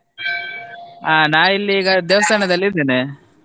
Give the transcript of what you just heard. ಆ ನಾ ಇಲ್ಲಿ ಈಗ ದೇವಸ್ಥಾನದಲ್ಲಿ ಇದ್ದೇನೆ.